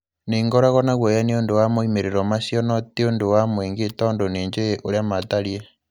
'Nĩ ngoragwo na guoya nĩ ũndũ wa moimĩrĩro macio no tĩ ũndũ wa mũingĩ tondũ nĩ njũĩ ũrĩa matariĩ.